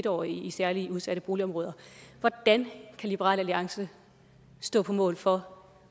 årige i særlig udsatte boligområder hvordan kan liberal alliance stå på mål for